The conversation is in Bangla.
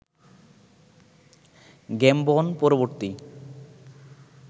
গ্যামবন পরবর্তী